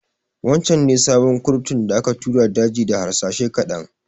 Wancan ne sabon kurtun da aka tura daji da harsashai ƙaɗan